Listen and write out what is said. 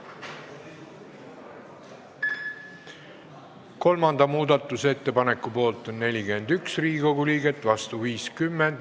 Hääletustulemused Kolmanda muudatusettepaneku poolt on 41 ja vastu 50 Riigikogu liiget.